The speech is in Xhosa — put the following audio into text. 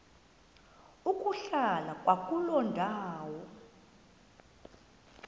ukuhlala kwakuloo ndawo